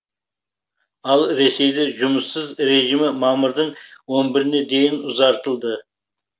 ал ресейде жұмыссыз режимі мамырдың он біріне дейін ұзартылды